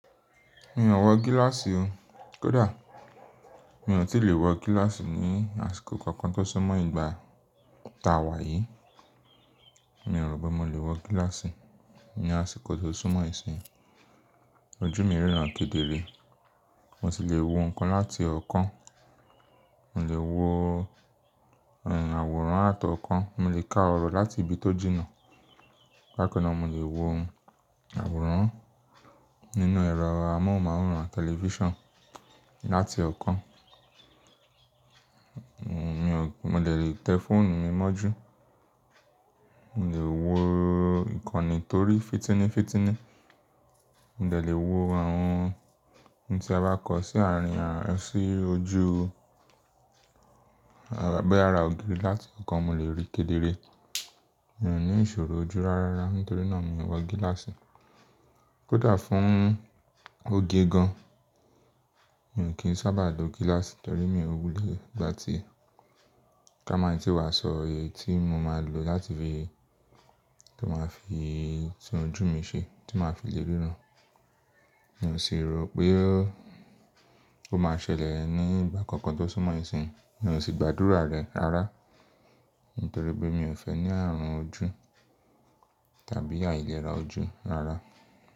Mi ò wọ gíláàsì o. Kódà mi ò tí lè wọ gíláàsì ní àsìkò kankan tó súnmọ́ ìgbà tá wa yìí. Mi ò rò pé mo lè wọ gíláàsì ní àsìkò tó súnmọ́ ìsìn. Ojú mi ríran kedere. Mo sì lè wo nnkan láti ọ̀kan. Mo lè wo àwòrán àtọ̀ọ̀kan. Mo lè ka ọ̀rọ̀ láti ibi tó jìnnà. Bakan náà mo lè wo àwòrán nínú ẹ̀rọ amóhùnmáwòrán, tẹlifíṣàn láti ọ̀kan. Mo dẹ̀ lè tẹ fóònù mi mọ́jú. Mo lè wo ìkànnì torí fìtínifítíní. Mo dẹ̀ lè wo àwọn ohun tí a bá kọ sí àárín àárín ọ sí ojú. Boyà ára ògiri láti ọ̀kan, mo lè ríi kedere. Mi ò ní ìṣòro ojú rárá. Nítorí náà mi ò wọ gíláàsì. Kódà fún oge gan-an, mi ò kí ń sábà lo gíláàsì torí mi ò wulẹ̀ gbáti e ká maa i tí wàá sọ, eyi tí mo máa lò láti fi tún ojú mi ṣe, tí màá fi lè ríran. Mi ò sì rò pé ó máa ṣẹlẹ̀ ní ìgbà kankan tó súnmọ́ ìsìn. Mi ò sì gbàdúrà rẹ̀ ara, nítorí pé mi ò fẹ́ ní ààrùn ojú tàbí àìlera ojú ara.